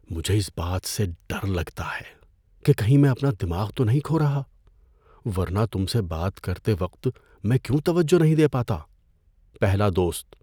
مجھے اس بات سے ڈر لگتا ہے کہ کہیں میں اپنا دماغ تو نہیں کھو رہا، ورنہ تم سے بات کرتے وقت میں کیوں توجہ نہیں دے پاتا؟ (پہلا دوست)